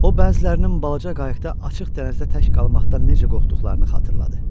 O bəzilərinin balaca qayıqda açıq dənizdə tək qalmaqdan necə qorxduqlarını xatırladı.